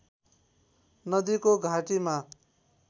नदीको घाटीमा